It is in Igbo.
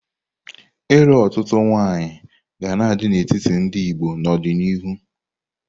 Ịlụ otutu nwaanyị ga na-adị n'etiti ndị Igbo n'ọdịnihu.